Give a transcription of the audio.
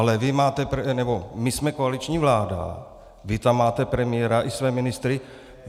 Ale my jsme koaliční vláda, vy tam máte premiéra i své ministry.